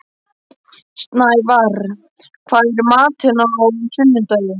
Snævarr, hvað er í matinn á sunnudaginn?